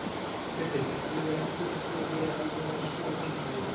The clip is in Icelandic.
Hjörtur: Þú hefur enn fulla trú á því að þú náir að snúa genginu við?